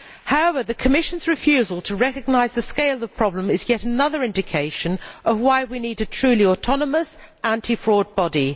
However, the Commission's refusal to recognise the scale of the problem is yet another indication of why we need a truly autonomous anti fraud body.